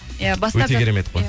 иә өте керемет қой